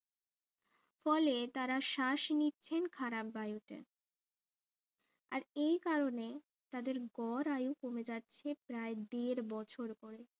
ফলে তারা শ্বাস নিচ্ছেন খারাপ বায়ুতে আর এই কারণে তাদের গড় আয়ু কমে যাচ্ছে প্রায় দেড় বছর করে